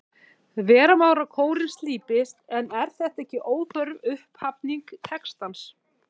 Vera má að kórinn slípist, en er þetta ekki óþörf upphafning textans?